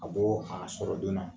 A bɔ a sɔrɔ joona